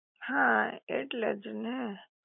હા એટલે જ ને